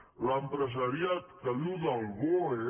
a l’empresariat que viu del boe